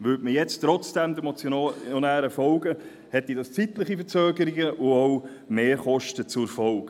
Würde man jetzt trotzdem den Motionären folgen, hätte dies zeitliche Verzögerungen und auch Mehrkosten zur Folge.